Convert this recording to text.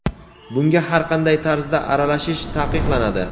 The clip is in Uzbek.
bunga har qanday tarzda aralashish taqiqlanadi.